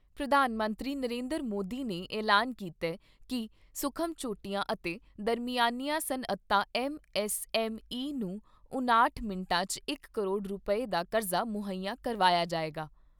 ਪ੍ਰਧਾਨ ਮੰਤਰੀ ਨਰਿੰਦਰ ਮੋਦੀ ਨੇ ਐਲਾਨ ਕੀਤਾ ਕਿ ਸੂਖਮ ਛੋਟੀਆਂ ਅਤੇ ਦਰਮਿਆਨੀਆਂ ਸਨਅਤਾਂ ਐੱਮਐੱਸਐੱਮ ਈ ਨੂੰ ਉਣਾਹਟ ਮਿੰਟਾਂ 'ਚ ਇਕ ਕਰੋੜ ਰੁਪਏ ਦਾ ਕਰਜ਼ਾ ਮੁਹੱਈਆ ਕਰਵਾਇਆ ਜਾਏਗਾ।